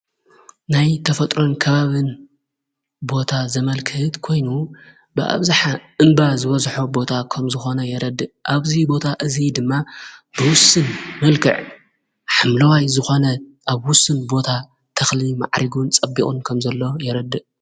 ናይ ተፈጥሮን ከባብን ቦታ ዘመልክህት ኮይኑ ብኣብዛኃ እምባ ዝበዝሖ ቦታ ኸም ዝኾነ የረድ ኣብዙይ ቦታ እዙይ ድማ ብውስን ምልክዕ ሓምለዋይ ዝኾነ ኣብ ውስን ቦታ ተኽሊ መዕሪጉን ጸቢኦን ከም ዘሎ የረድእ።